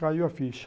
Caiu a ficha.